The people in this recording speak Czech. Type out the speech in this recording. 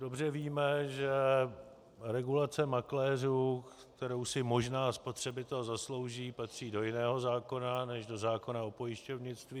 Dobře víme, že regulace makléřů, kterou si možná spotřebitel zaslouží, patří do jiného zákona než do zákona o pojišťovnictví.